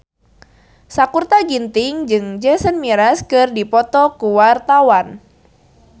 Sakutra Ginting jeung Jason Mraz keur dipoto ku wartawan